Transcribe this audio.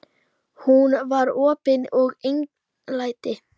Hún var opin og einlæg.